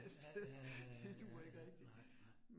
Ja ja ja ja ja ja ja nej nej